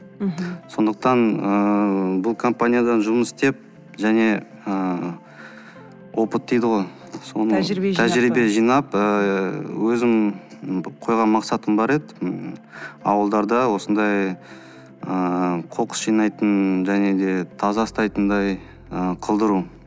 мхм сондықтан ыыы бұл компаниядан жұмыс істеп және ыыы опыт дейді ғой тәжірбие жинап ыыы өзім қойған мақсатым бар еді ауылдарда осындай ыыы қоқыс жинайтын және де таза ұстайтындай ы қылдыру